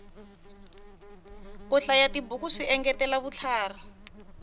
ku hlayatibuku swi engetela vutlhari